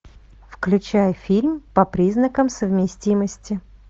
включай фильм по признакам совместимости